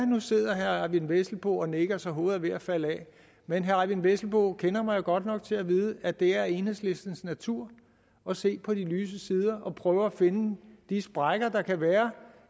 nu sidder herre eyvind vesselbo og nikker så hovedet er ved at falde af men herre eyvind vesselbo kender mig godt nok til at vide at det er enhedslistens natur at se på de lyse sider og prøve at finde de sprækker der kan være